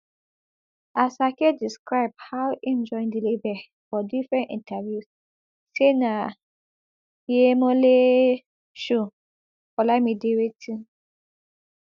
asake describe how im join di label for different interviews say na yhemoleee show olamide wetin